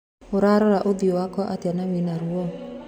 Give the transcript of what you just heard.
Ũrarora ũthio wakwa atĩa na wĩna ruo.